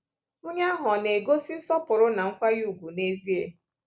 Onye ahụ ọ̀ na-egosi nsọpụrụ na nkwanye ùgwù n’ezie?